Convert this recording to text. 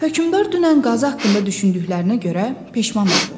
Hökmdar dünən qazı haqqında düşündüklərinə görə peşman oldu.